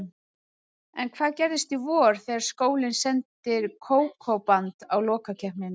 En hvað gerist í vor, þegar skólinn sendir Kókó-band á lokakeppnina?